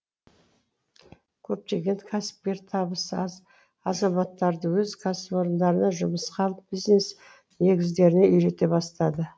көптеген кәсіпкер табысы аз азаматтарды өз кәсіпорындарына жұмысқа алып бизнес негіздеріне үйрете бастады